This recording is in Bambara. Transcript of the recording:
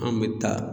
An bɛ taa